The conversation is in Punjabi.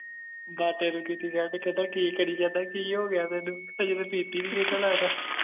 ਦਾਤੇ ਨੂੰ ਕੀਤੀ send ਕਹਿੰਦਾ ਕਿ ਕਰਿ ਜਾਣਾ ਕਿ ਹੋ ਗਯਾ ਤੈਨੂੰ ਹਜੇ ਤਾ ਪੀਤੀ ਵੀ ਨਹੀਂ ਏਦਾਂ ਲਗਦਾ